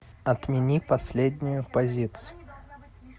отмени последнюю позицию